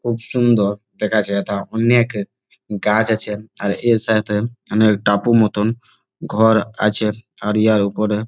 খুব সুন্দর দেখাচ্ছে যেথা অনেক গাছ আছে আর এর সাথে অনেক টাপু মতন ঘর আছে আরিয়ার ওপরে|